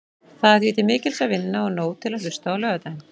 Það er því til mikils að vinna og nóg til að hlusta á laugardaginn.